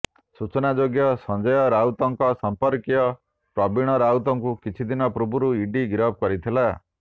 ସୂଚନାଯୋଗ୍ୟ ସଞ୍ଜୟ ରାଉତଙ୍କ ସଂପର୍କୀୟ ପ୍ରବୀଣ ରାଉତଙ୍କୁ କିଛି ଦିନ ପୂର୍ବରୁ ଇଡି ଗିରଫ କରିଥିଲା